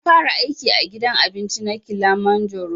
Na fara aiki a gidan abinci na kilimajaro